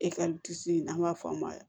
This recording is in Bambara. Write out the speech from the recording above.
n'an b'a fɔ a ma